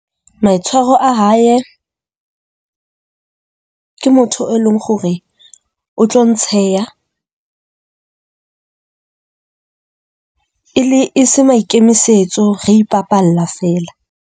Maitshwaro a hae ke motho e leng hore o tlo ntsheha e le e se maikemisetso. Re ipapalla feela.